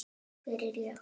Hvernig er ég?